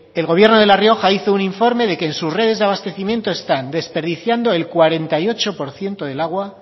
el gobierno de la rioja hizo un informe de que en sus redes de abastecimiento están desperdiciando el cuarenta y ocho por ciento del agua